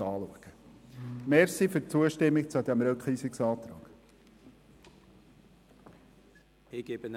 Danke, wenn Sie dem Rückweisungsantrag zustimmen.